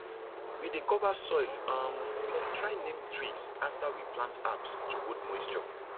we dey cover soil um with dry neem twigs after we plant herbs to hold moisture